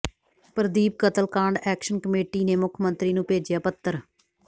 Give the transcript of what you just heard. ਪ੍ਰਦੀਪ ਕਤਲਕਾਂਡ action committee ਨੇ ਮੁੱਖ ਮੰਤਰੀ ਨੂੰ ਭੇਜਿਆ ਪੱਤਰ